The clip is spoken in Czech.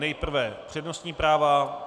Nejprve přednostní práva.